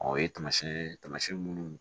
Ɔ o ye tamasiyɛn ye taamasiyɛn minnu